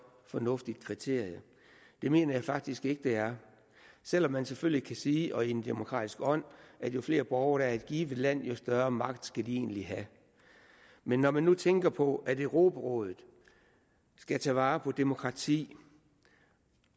og fornuftigt kriterium det mener jeg faktisk ikke det er selv om man selvfølgelig kan sige i en demokratisk ånd at jo flere borgere i et givet land jo større magt skal de egentlig have men når man nu tænker på at europarådet skal tage vare på demokrati